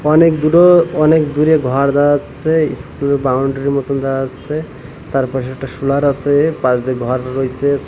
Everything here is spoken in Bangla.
অনেক দূরো অনেক দূরে ঘর দেওয়া আচ্ছে ইস্কুল এর বাউন্ডারি র মতন দেওয়া আচ্ছে তার পাশে একটা সোলার আসে পাশ দিয়ে ঘর রইসে।